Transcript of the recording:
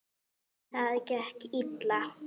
Það gekk illa.